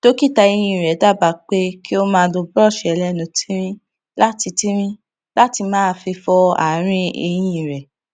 dókítà eyín rè dábàá pé kí ó máa lo búrọọṣì ẹlẹnu tíírín láti tíírín láti máa fi fọ ààrín eyín rẹ